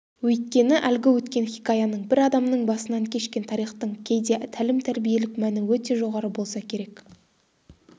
өйткені әлгі өткен хикаяның бір адамның басынан кешкен тарихтың кейде тәлім-тәрбиелік мәні өте жоғары болса керек